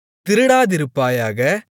திருடாதிருப்பாயாக